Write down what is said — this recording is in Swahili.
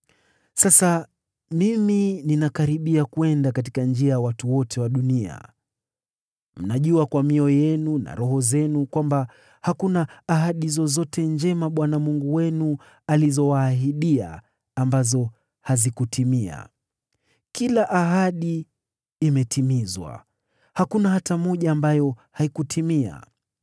“Sasa mimi ninakaribia kwenda katika njia ya watu wote wa dunia. Mnajua kwa mioyo yenu na roho zenu kwamba hakuna ahadi zozote njema Bwana Mungu wenu alizowaahidia, ambazo hazikutimia. Kila ahadi imetimizwa, hakuna hata moja ambayo haikutimia.